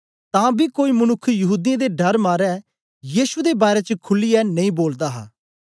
तां बी कोई मनुक्ख यहूदीयें दे डर मारे यीशु दे बारै च खुलीयै नेई बोलदा हा